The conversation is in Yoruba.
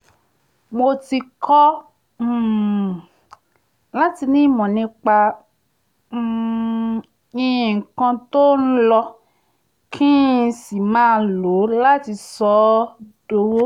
mo ti kọ́ um láti ní ìmọ̀ nípa um nǹkan tó ń lọ kí n n sì máa lo láti sọ ọ́ dowó